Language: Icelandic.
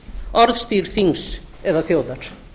orðstír þings eða þjóðar